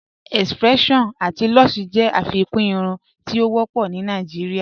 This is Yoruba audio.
X-pression ati Lush jẹ afikún irùn ti o wọpọ̀ ni Nàìjíríà